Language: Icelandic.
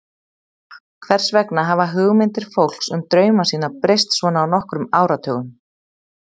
Hvers vegna hafa hugmyndir fólks um drauma sína breyst svona á nokkrum áratugum?